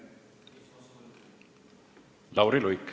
Lauri Luik.